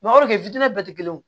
bɛɛ tɛ kelen ye